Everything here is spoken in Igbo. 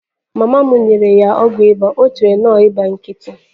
Mama m nyere ya ọgwụ ịba, o chere na ọ bụ ịba nkịtị.